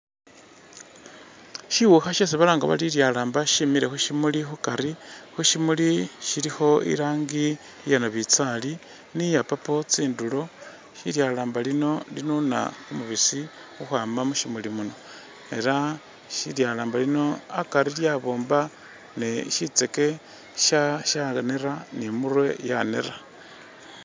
Shiwuukha shesi balanga bari lilyalamba shimile khushimuuli khukari khushimuli khulikho irangi iya nabitsali ni ya purple tsinduro lilyalamba lino linuuna kumubisi khukwaama mushimuuli muno ela lilyalamba lino akari lyaboomba ne shitseke shaneera ni imurwe yaneera.